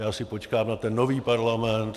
Já si počkám na ten nový parlament.